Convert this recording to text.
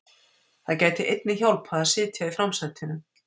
Það gæti einnig hjálpað að sitja í framsætinu.